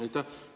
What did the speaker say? Aitäh!